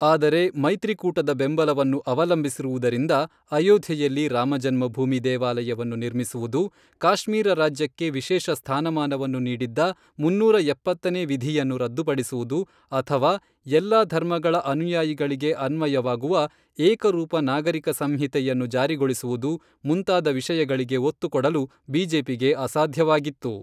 ಆದರೆ ಮೈತ್ರಿಕೂಟದ ಬೆಂಬಲವನ್ನು ಅವಲಂಬಿಸಿರುವುದರಿಂದ, ಅಯೋಧ್ಯೆಯಲ್ಲಿ ರಾಮ ಜನ್ಮಭೂಮಿ ದೇವಾಲಯವನ್ನು ನಿರ್ಮಿಸುವುದು, ಕಾಶ್ಮೀರ ರಾಜ್ಯಕ್ಕೆ ವಿಶೇಷ ಸ್ಥಾನಮಾನವನ್ನು ನೀಡಿದ್ದ ಮುನ್ನೂರ ಎಪ್ಪತ್ತನೇ ವಿಧಿಯನ್ನು ರದ್ದುಪಡಿಸುವುದು ಅಥವಾ ಎಲ್ಲಾ ಧರ್ಮಗಳ ಅನುಯಾಯಿಗಳಿಗೆ ಅನ್ವಯವಾಗುವ ಏಕರೂಪ ನಾಗರಿಕ ಸಂಹಿತೆಯನ್ನು ಜಾರಿಗೊಳಿಸುವುದು, ಮುಂತಾದ ವಿಷಯಗಳಿಗೆ ಒತ್ತು ಕೊಡಲು ಬಿಜೆಪಿಗೆ ಅಸಾಧ್ಯವಾಗಿತ್ತು.